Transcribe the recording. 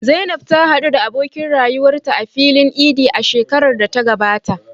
Zainab ta haɗu da abokin rayuwarta a filin Idi a shekarar da ta gabata.